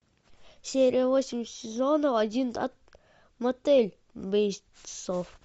серия восемь сезонов один мотель бейтсов